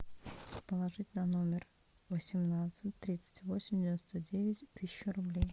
положить на номер восемнадцать тридцать восемь девяносто девять тысячу рублей